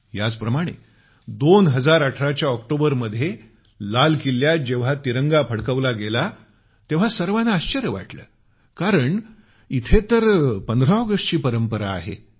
याच प्रमाणे 2018 च्या ऑक्टोबरमध्ये लाल किल्ल्यात जेव्हा तिरंगा फडकवला गेला तेव्हा सर्वाना आश्चर्य वाटलं कारण इथं तर 15 ऑगस्टची परंपरा आहे